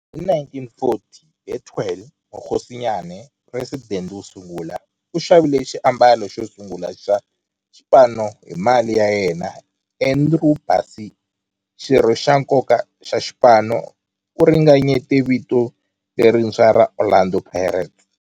Hi 1940, Bethuel Mokgosinyane, president wosungula, u xavile xiambalo xosungula xa xipano hi mali ya yena. Andrew Bassie, xirho xa nkoka xa xipano, u ringanyete vito lerintshwa ra 'Orlando Pirates'.